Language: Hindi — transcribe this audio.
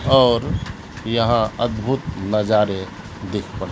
और यहां अदभुत नजारे देख पा--